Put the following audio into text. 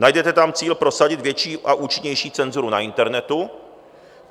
Najdete tam cíl prosadit větší a účinnější cenzuru na internetu.